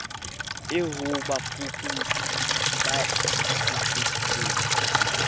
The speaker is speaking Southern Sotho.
eo ho bafuputsi ba ikgethileng